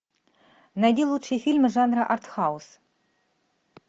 найди лучшие фильмы жанра артхаус